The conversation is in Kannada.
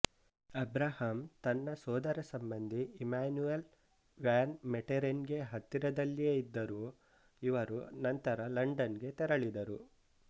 ಅಬ್ರಹಾಂ ತನ್ನ ಸೋದರಸಂಬಂಧಿ ಇಮ್ಯಾನ್ಯುಯಲ್ ವ್ಯಾನ್ ಮೆಟೆರೆನ್ಗೆ ಹತ್ತಿರದಲ್ಲಿಯೇ ಇದ್ದರು ಇವರು ನಂತರ ಲಂಡನ್ಗೆ ತೆರಳಿದರು